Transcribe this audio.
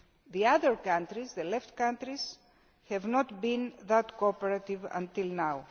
The other countries, the remaining countries, have not been that cooperative until now.